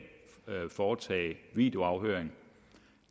foretage videoafhøring